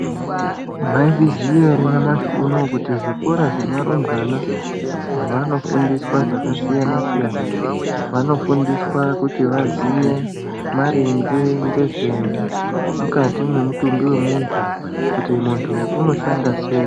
Maizviziya here kuti nyamashi unowu zvikora zvevarumbwana vanofundiswa zvakasiyana siyana vanofundiswa kuti vaziye mainge ngezve mukati mwemutumbi wemuntu kuti muntu anoshanda seyi.